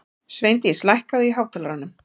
Sveindís, lækkaðu í hátalaranum.